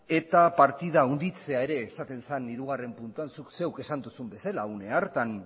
eta partida handitzea ere esaten zen hirugarren puntuan zuk zeuk esan duzun bezala une hartan